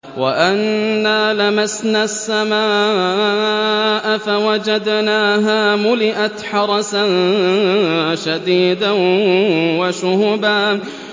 وَأَنَّا لَمَسْنَا السَّمَاءَ فَوَجَدْنَاهَا مُلِئَتْ حَرَسًا شَدِيدًا وَشُهُبًا